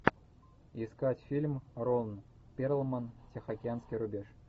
искать фильм рон перлман тихоокеанский рубеж